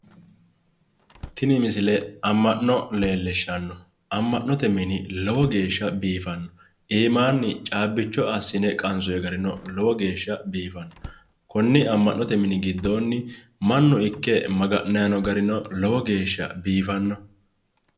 tini misile amma'no leellishshanno amma'note mini lowo geeshsha biifanno iimaanni caabbicho assine qansoonni garino lowo geeshsha biifanno konni amma'note mini giddoonni manni ikke maga'nanni noo garino lowo geeshsha biifanno.